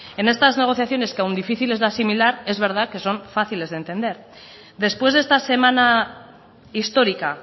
en estas negociaciones que aun difíciles de asimilar es verdad que son fáciles de entender después de esta semana histórica